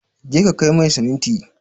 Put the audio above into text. Je ka kai mai siminti!